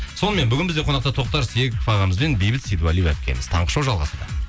сонымен бүгін бізде қонақта тоқтар серіков ағамыз бен бейбіт сейдуалиева әпкеміз таңғы шоу жалғасуда